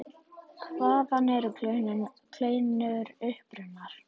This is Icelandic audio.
Hvaðan eru kleinur upprunnar?